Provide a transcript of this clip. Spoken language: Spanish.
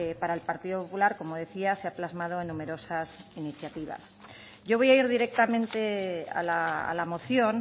para el partido popular como decía se ha plasmado en numerosas iniciativas yo voy a ir directamente a la moción